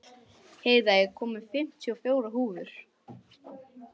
Heiða, ég kom með fimmtíu og fjórar húfur!